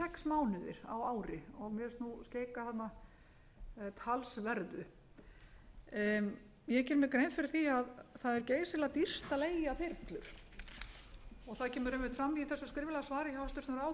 mánuðir á ári og mér finnst skeika þarna talsverðu ég geri mér grein fyrir því að það er geysilega dýrt að leigja þyrlu og það kemur fram í þessu skriflega svari hjá hæstvirtum ráðherra hvað þetta kost ég var sjálf að leika mér að því